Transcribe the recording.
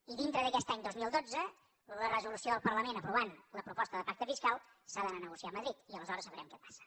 i dintre d’aquest any dos mil dotze la resolució del parlament aprovant la proposta de pacte fiscal s’ha d’anar a negociar a madrid i aleshores sabrem què passa